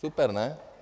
Super ne?